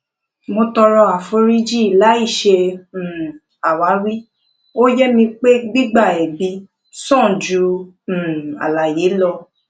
mo tọrọ àforífojìn láì ṣe um àwáwí ó ye mi pé gbigba ẹbi sàn ju um àlàyé lọ